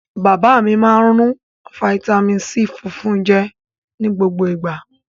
Bàbá mi máa ń rún fataímìn C funfun jẹ ní gbogbo ìgbà.